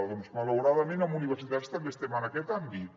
doncs malauradament en universitats també estem en aquest àmbit